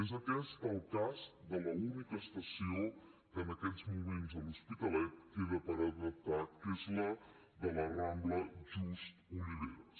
és aquest el cas de l’única estació que en aquests moments a l’hospitalet queda per adaptar que és la de la rambla just oliveras